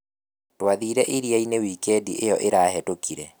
Twathire iria-inĩ wikendi ĩyo ĩrahĩtũkire